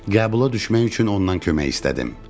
Qəbula düşmək üçün ondan kömək istədim.